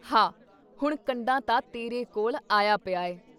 ਹਾਅ! ਹੁਣ ਕੰਢਾ ਤਾਂ ਤੇਰੇ ਕੋਲ਼ ਆਇਆ ਪਿਆ ਐ।